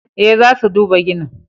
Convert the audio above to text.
Eh, za su duba ginin.